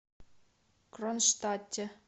кронштадте